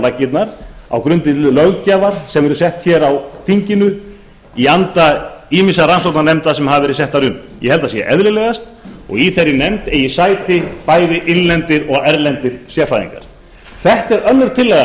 laggirnar á grundvelli löggjafar sem verður sett á þinginu í anda ýmissa rannsóknarnefnda sem hafa verið settar upp ég held að það sé eðlilegast og í þeirri nefnd eigi sæti bæði innlendir og erlendir sérfræðingar þetta er önnur tillagan sem